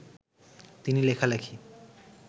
তিনি লেখালেখি